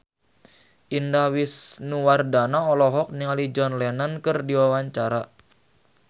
Indah Wisnuwardana olohok ningali John Lennon keur diwawancara